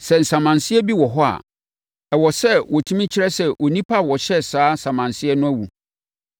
Sɛ nsamanseɛ bi wɔ hɔ a, ɛwɔ sɛ wɔtumi kyerɛ sɛ onipa a ɔhyɛɛ saa samanseɛ no awu.